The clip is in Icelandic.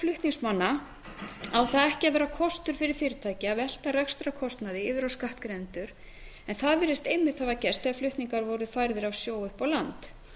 flutningsmanna á það ekki að vera kostur fyrir fyrirtæki að velta rekstrarkostnaði yfir á skattgreiðendur en það virðist einmitt hafa gerst þegar flutningar voru færðir af sjó upp á land